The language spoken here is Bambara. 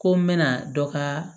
Ko n bɛna dɔ kaa